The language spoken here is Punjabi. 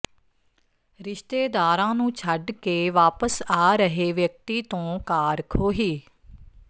ਰਿਸ਼ਤੇਦਾਰਾਂ ਨੂੰ ਛੱਡ ਕੇ ਵਾਪਸ ਆ ਰਹੇ ਵਿਅਕਤੀ ਤੋਂ ਕਾਰ ਖੋਹੀ